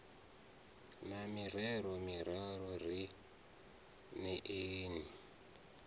na mirero miraru ri neeni